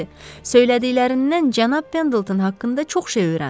Söylədiklərindən cənab Pendleton haqqında çox şey öyrəndim.